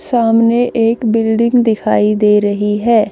सामने एक बिल्डिंग दिखाई दे रही है।